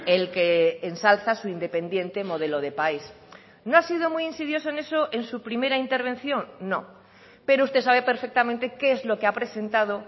el que ensalza su independiente modelo de país no ha sido muy insidioso en eso en su primera intervención no pero usted sabe perfectamente qué es lo que ha presentado